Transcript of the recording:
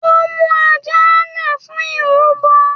Ó mú ajá le fún irúbo.